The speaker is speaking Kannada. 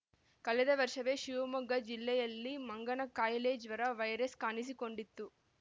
ಕಳೆದ ವರ್ಷವೇ ಶಿವಮೊಗ್ಗ ಜಿಲ್ಲೆಯಲ್ಲಿ ಮಂಗನ ಕಾಯಿಲೆ ಜ್ವರ ವೈರಸ್‌ ಕಾಣಿಸಿಕೊಂಡಿತ್ತು